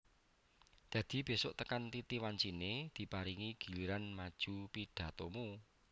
Dadi besuk tekan titi wancine diparingi giliran maju pidhatomu